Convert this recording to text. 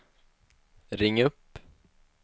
ring upp